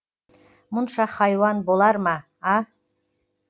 мұнша хайуан болар ма а